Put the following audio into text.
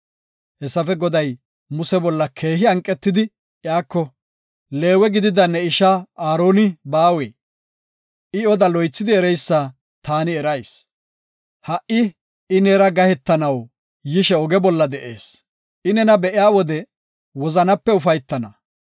Hessafe guye, Goday Muse bolla daro hanqetidi iyako, “Leewe gidida ne ishaa Aaroni baawee? I oda loythidi ereysa ta erayis. Ha77i I neera gahetanaw yishe oge bolla de7ees; I nena be7iya wode wozanape ufaytana.